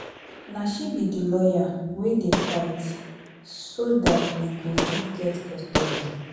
Na she be the lawyer wey dey fight so dat we got fit get custody